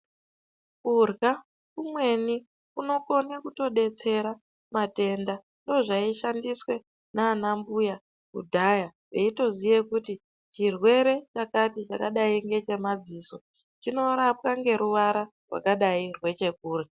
Kurya kumweni kunokone kutobetsera matenda ndozvaishandiswe nana mbuya kudhaya. Eitoziye kuti chirwere chakati chakadai ngemadziso chinorapwa ngeruvara rwakadai rwechekurya.